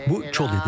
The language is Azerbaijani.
Bu çöl idi.